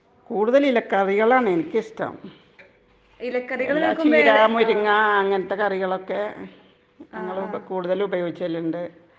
കൂടുതൽ ഇത് കറികള് ആണ് എനിക്ക് ഇഷ്ടം .ചീര ,മുരിങ്ങ അങ്ങനത്തെ കറികളൊക്കെ കൂടുതല് ഉപയോഗികളുണ്ട് .